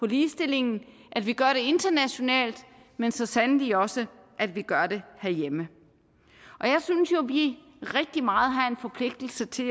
ligestillingen at vi gør det internationalt men så sandelig også at vi gør det herhjemme jeg synes jo vi rigtig meget har en forpligtelse til